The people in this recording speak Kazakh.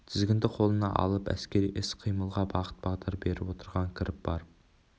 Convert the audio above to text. тізгінді қолына алып әскери іс-қимылға бағыт-бағдар беріп отырған кіріп барып